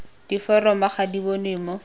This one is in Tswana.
diforomo ga di bonwe mo